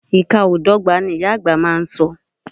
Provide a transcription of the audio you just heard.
Ìka o dọ́gba, ni ìyá àgbà má a so.